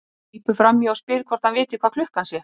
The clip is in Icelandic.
Grípur fram í og spyr hvort hann viti hvað klukkan sé.